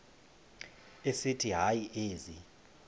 esithi hayi ezi